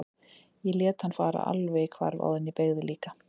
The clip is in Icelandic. Ég lét hann fara alveg í hvarf áður en ég beygði líka.